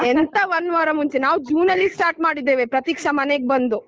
ಎಂತಾ ಒಂದು ವಾರ ಮುಂಚೆ ನಾವು ಜೂನಲ್ಲಿ start ಮಾಡಿದ್ದೇವೆ ಪ್ರತೀಕ್ಷಾ ಮನೇಗ್ ಬಂದು.